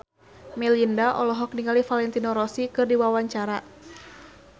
Melinda olohok ningali Valentino Rossi keur diwawancara